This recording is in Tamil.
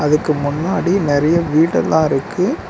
இதுக்கு முன்னாடி நறையா வீடெல்லா இருக்கு.